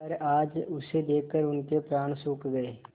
पर आज उसे देखकर उनके प्राण सूख गये